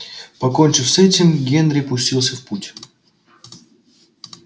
покончив с этим генри пустился в путь